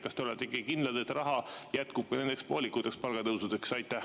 Kas te olete kindlad, et raha jätkub nendeks poolikuteks palgatõusudeks?